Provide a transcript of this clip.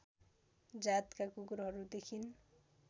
जातका कुकुरहरू देखिन